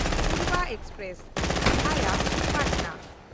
Purva express (ᱵᱷᱟᱭᱟ ᱯᱟᱴᱱᱟ)